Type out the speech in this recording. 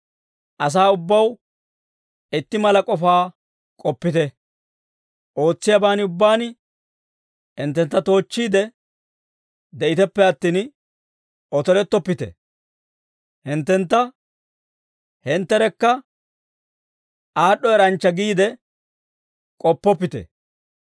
Asaa ubbaw itti mala k'ofaa k'oppite; ootsiyaaban ubbaan hinttentta toochchiide de'iteppe attin, otorettoppite; hinttentta hintterekka aad'd'o eranchcha giide k'oppoppite.